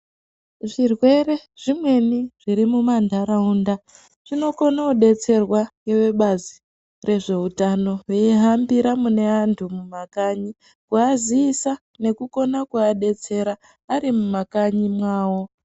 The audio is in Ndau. Zvirwere zvimweni zviri mumandaraunda zvinokona kubetserwa ngevebazi rwezveutano vaihambira mune antu mumakanyi kuvazivisa nekukona kuvadetsera aari mumakanyi mwavo.